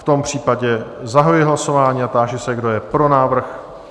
V tom případě zahajuji hlasování a táži se, kdo je pro návrh?